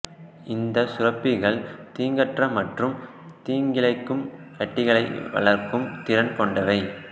இந்த சுரப்பிகள் தீங்கற்ற மற்றும் தீங்கிழைக்கும் கட்டிகளை வளர்க்கும் திறன் கொண்டவை